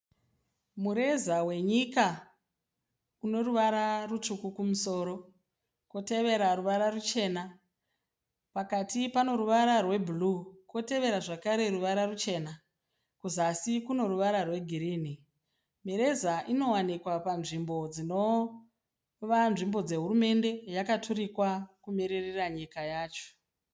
Mureza wenyika unoruvara rutsvuku kumusoro, kotevera ruvara ruchena, pakati pano ruvara rwe bhuruu, kotevera zvakare ruvara ruchena, kuzasi kuno ruvara rwegirinhi. Mireza inowanikwa panzvimbo dzinova nzvimbo dzehurumende yakaturikwa kumiririra nyika yacho.